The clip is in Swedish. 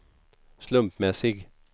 slumpmässig